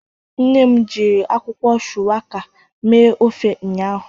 Nne m jiri akwukwo shuwaka mee ofe ụnyahụ